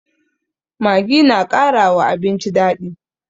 Maggi na kara wa abinci daɗi